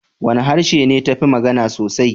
Wane harshe ne ta fi magana sosai?